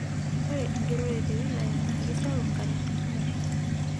Ore enkigerore te wilaya naa keisapuk nkatitin kumok.